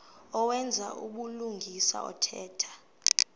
owenza ubulungisa othetha